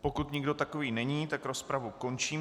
Pokud nikdo takový není, tak rozpravu končím.